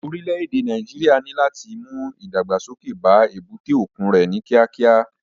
Orílẹ̀ èdè Nàíjíríà ní láti mú ìdàgbàsókè bá èbúté òkun rẹ̀ ní kíákíá.